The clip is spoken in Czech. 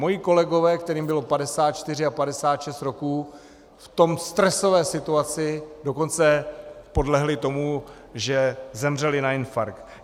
Moji kolegové, kterým bylo 54 a 56 roků, v té stresové situaci dokonce podlehli tomu, že zemřeli na infarkt.